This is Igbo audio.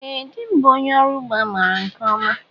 Ee dị m bụ ónyé ọrụ ụgbọ a maara nke ọma.